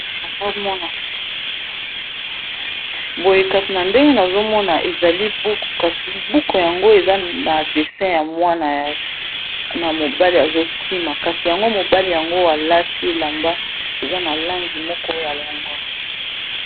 boye kasi na ndenge nazomona ezali buku kasi buku yango eza na dessin ya mwana na mobali azokima kasi yango mobali yango alati elamba eza na langi moko ya longondo